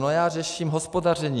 No, já řeším hospodaření.